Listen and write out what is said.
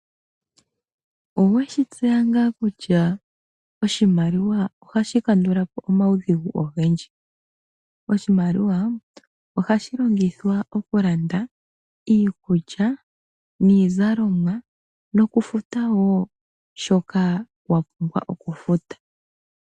Oweshi tseya ngaa kutya oshimaliwa ohashi kandulapo omawudhigu ogendji? Oshimaliwa ohashi longithwa oku landa iikulya, iizalomwa noku futa wo shoka wa pumbwa oku futa.